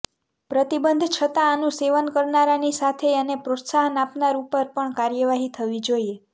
પ્રતિબંધ છતાં આનું સેવન કરનારાની સાથે એને પ્રોત્સાહન આપનાર ઉપર પણ કાર્યવાહી થવી જોઈએ